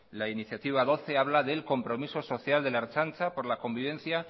la iniciativa doce habla del compromiso social de la ertzaintza por la convivencia